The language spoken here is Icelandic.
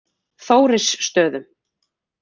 Þórisstöðum